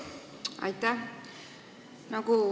Aitäh!